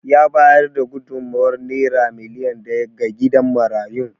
Ya bayar da gudummawar Naira miliyan daya ga gidan marayun.